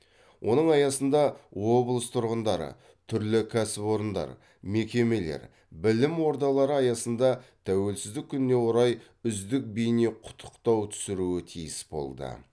оның аясында облыс тұрғындары түрлі кәсіпорындар мекемелер білім ордалары аясында тәуелсіздік күніне орай үздік бейне құттықтау түсіруі тиіс болды